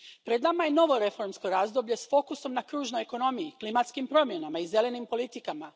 Pred nama je novo reformsko razdoblje s fokusom na kružnoj ekonomiji, klimatskim promjenama i zelenim politikama.